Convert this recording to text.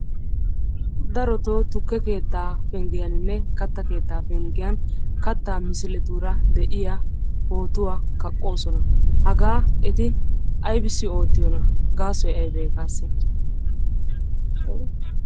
Darottoo tukke keettaa pengiyaninne kattaa keettaa penggiyan kattaa misiletuura de'iya pootuwaa kaqqoosona, hagaa eti aybbissi oottiyona? gaasoy aybee?